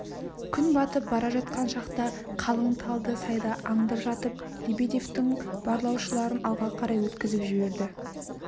күн батып бара жатқан шақта қалың талды сайда аңдып жатып лебедевтің барлаушыларын алға қарай өткізіп жіберді